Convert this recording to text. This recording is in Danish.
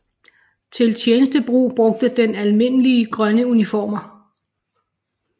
Til tjenestebrug brugte den almindelige grønne uniformer